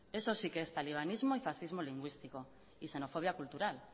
eso sí que es talibanismo y laxismo lingüístico y xenofobia cultural